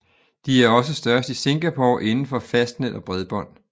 De er også størst i Singapore indenfor fastnet og bredbånd